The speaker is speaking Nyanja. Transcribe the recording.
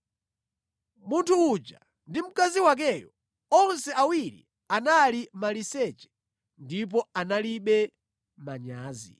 Munthu uja ndi mkazi wakeyo, onse awiri anali maliseche ndipo analibe manyazi.